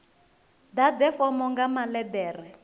ḓadze fomo nga maḽe ḓere